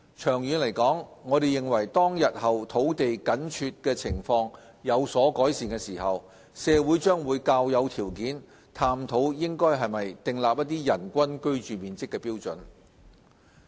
長遠而言，我們認為當日後土地緊絀情況有所改善時，社會將較有條件探討應否訂立人均居住面積標準。